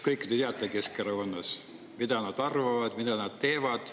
Kõike te teate Keskerakonnast: mida nad arvavad, mida nad teevad.